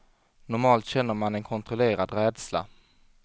Normalt känner man en kontrollerad rädsla.